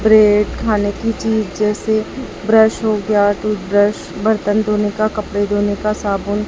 bread खाने की चीज जैसे ब्रश हो गया टूथब्रश बर्तन धोने का कपड़े धोने का साबुन--